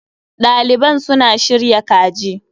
Ɗaliban suna shirya kaji.